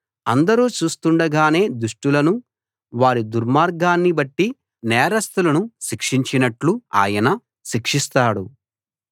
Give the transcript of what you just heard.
అందరూ చూస్తుండగానే దుష్టులను వారి దుర్మార్గాన్ని బట్టి నేరస్తులను శిక్షించినట్టు ఆయన శిక్షిస్తాడు